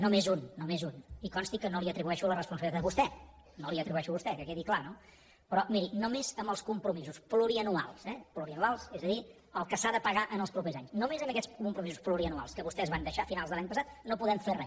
només un només un i consti que no li atribueixo la responsabilitat a vostè no la hi atribueixo a vostè que quedi clar no però miri només amb els compromisos plurianuals eh plurianuals és a dir el que s’ha de pagar els propers anys només amb aquests compromisos plurianuals que vostès van deixar a finals de l’any passat no podem fer re